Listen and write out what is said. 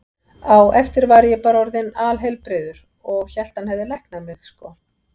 Á eftir var ég bara orðinn alheilbrigður og hélt að hann hefði læknað mig, sko.